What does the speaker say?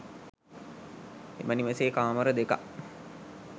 එම නිවසේ කාමර දෙකක්